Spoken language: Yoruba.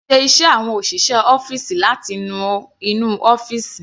Kìí ṣe iṣẹ́ àwọn òṣìṣẹ́ ọ́fìsì láti nu inú ọ́fìsì.